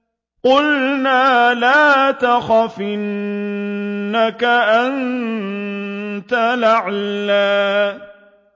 قُلْنَا لَا تَخَفْ إِنَّكَ أَنتَ الْأَعْلَىٰ